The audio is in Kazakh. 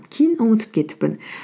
кейін ұмытып кетіппін